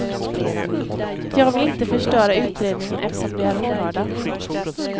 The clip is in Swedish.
Jag vill inte förstöra utredningen eftersom de är ohörda.